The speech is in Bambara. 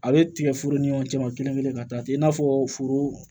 A bɛ tigɛforo ni ɲɔgɔn cɛ ma kelen kelen ka taa ten i n'a fɔ foro